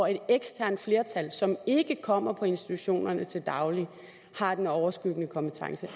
et eksternt flertal som ikke kommer på institutionerne til daglig har den overskyggende kompetence